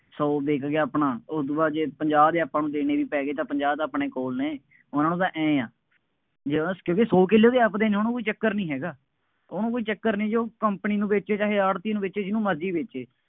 ਸੌ ਵਿੱਕ ਗਿਆ ਆਪਣਾ, ਉਦੋਂ ਬਾਅਦ ਜੇ ਪੰਜਾਹ ਦੇ ਆਪਾਂ ਨੂੰ ਦੇਵੇ ਵੀ ਪੈ ਗਏ ਤਾਂ ਪੰਜਾਹ ਤਾਂ ਆਪਣੇ ਕੋਲ ਨੇ, ਉਨ੍ਹਾ ਨੂੰ ਤਾਂ ਆਂਏਂ ਹੈ। ਕਿਉਂਕਿ ਸੌ ਕਿੱਲੇ ਉਹਦੇ ਆਪਦੇ ਨੇ, ਉਹਨੂੰ ਕੋਈ ਚੱਕਰ ਨਹੀਂ ਹੈਗਾ, ਉਹਨੂੰ ਕੋਈ ਚੱਕਰ ਨਹੀਂ, ਜੇ ਉਹ company ਨੂੰ ਵੇਚੇ, ਚਾਹੇ ਆੜ੍ਹਤੀਏ ਨੂੰ ਵੇਚੇ, ਜਿਹਨੂੰ ਮਰਜ਼ੀ ਵੇਚੇ।